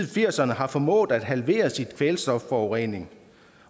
firserne har formået at halvere sin kvælstofforurening